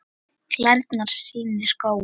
Klærnar sýnir Góa.